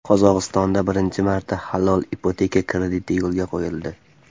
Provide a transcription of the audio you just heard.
Qozog‘istonda birinchi marta halol ipoteka krediti yo‘lga qo‘yildi.